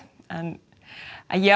ég